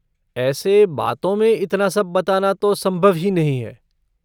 ऐसे बातों में इतना सब बताना तो संभव ही नहीं है।